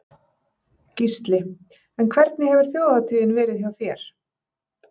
Gísli: En hvernig hefur þjóðhátíðin verið hjá þér?